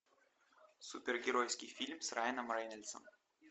супергеройский фильм с райаном рейнольдсом